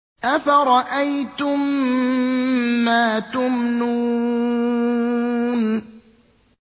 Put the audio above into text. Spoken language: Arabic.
أَفَرَأَيْتُم مَّا تُمْنُونَ